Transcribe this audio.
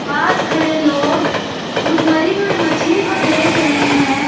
पास खड़े लोग उस मरी हुई मछली को देख रहे हैं ।